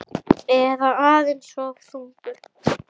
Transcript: Eða aðeins of þungur?